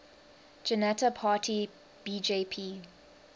janata party bjp